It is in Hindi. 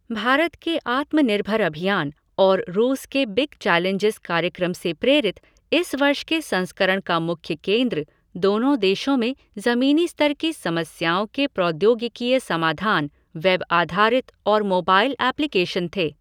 भारत के आत्मनिर्भर अभियान और रूस के बिग चैलेंजिज़ कार्यक्रम से प्रेरित इस वर्ष के संस्करण का मुख्य केन्द्र दोनों देशों में ज़मीनी स्तर की समस्याओं के प्रौद्योगिकीय समाधान, वेबआधारित और मोबाइल एप्लीकेशन थे।